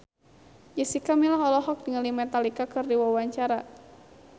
Jessica Milla olohok ningali Metallica keur diwawancara